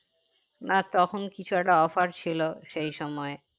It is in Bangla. না তখন কিছু একটা offer ছিল সেই সময়